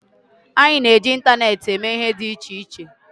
Anyị na-eji ịntaneetị eme ihe dị iche iche